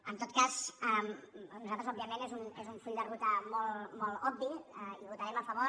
en tot cas nosaltres òbviament és un full de ruta molt obvi hi votarem a favor